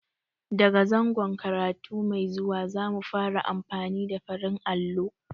Da ga zangon karatu mai zuwa, za mu fara amfani da farin allo.